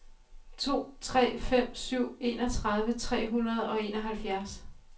to tre fem syv enogtredive tre hundrede og enoghalvfjerds